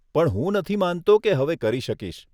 પણ હું નથી માનતો કે હવે કરી શકીશ.